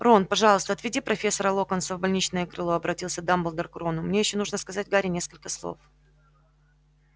рон пожалуйста отведи профессора локонса в больничное крыло обратился дамблдор к рону мне ещё нужно сказать гарри несколько слов